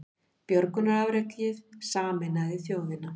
Björgunarafrekið sameinaði þjóðina